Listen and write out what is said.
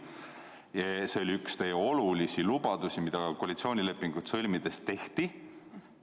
oli üks teie olulisi lubadusi, mis koalitsioonilepingut sõlmides anti.